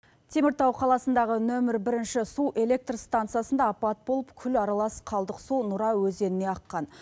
теміртау қаласындағы нөмірі бірінші су электростанциясында апат болып күл аралас қалдық су нұра өзеніне аққан